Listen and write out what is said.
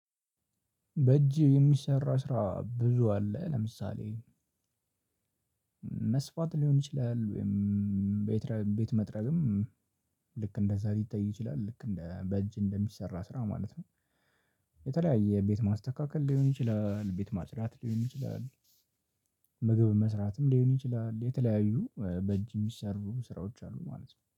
በእጄ የሚሰራ ስራ ብዙ አለ ለምሳሌ መስፋት ሊሆን ይችላል ወይም ቤት መጥረግም ልክ እንደዛ ሊታይ ይችላል ልክ እንደ በእጅ እንደሚሰራ ስራ ማለት ነው። የተለያየ ቤት ማስተካከል ሊሆን ይችላል ቤት ማፅደት ሊሆን ይችላል። ምግብ መስራትም ሊሆን ይችላል የተለያዩ በእጅ ምሰሩ ስራዎች አሉ ማለት ነው